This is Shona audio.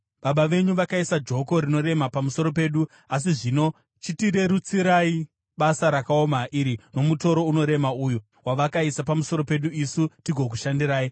“Baba venyu vakaisa joko rinorema pamusoro pedu, asi zvino chitirerutsirai basa rakaoma iri nomutoro unorema uyu wavakaisa pamusoro pedu, isu tigokushandirai.”